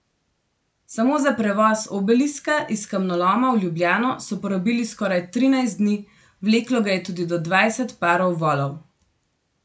Samo za prevoz obeliska iz kamnoloma v Ljubljano so porabili skoraj trinajst dni, vleklo ga je tudi do dvajset parov volov.